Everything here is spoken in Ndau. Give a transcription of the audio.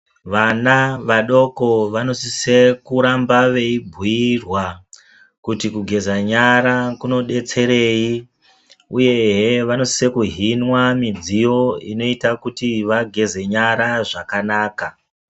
Vana vadoko vanosise kuramba veibhuirwa kuti kugeza nyara kunodetserei uyezve vanososa kuhinwa midziyo inoita kuti vageze nyara zvakanaka.